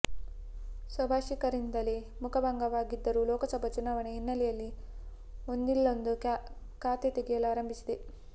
ಸ್ವಭಾಷಿಕರಿಂದಲೇ ಮುಖಭಂಗವಾಗಿದ್ದರೂ ಲೋಕಸಭೆ ಚುನಾವಣೆ ಹಿನ್ನೆಲೆಯಲ್ಲಿ ಒಂದಿಲ್ಲೊಂದು ಖ್ಯಾತೆ ತೆಗೆಯಲು ಆರಂಭಿಸಿದೆ